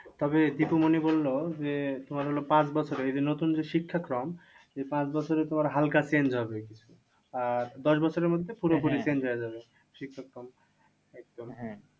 তবে জেঠুমনি বললো যে, তোমার হলো পাঁচ বছরে যদি নতুন যে শিক্ষাক্রম পাঁচবছরে তোমার হালকা change হবে। আর দশবছরের মধ্যে পুরোপুরি change হয়ে যাবে শিক্ষাক্রম একদম।